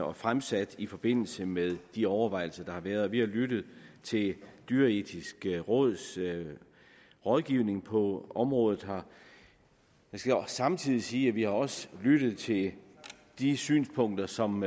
og fremsat i forbindelse med de overvejelser der har været og vi har lyttet til det dyreetiske råds rådgivning på området jeg skal samtidig sige at vi også har lyttet til de synspunkter som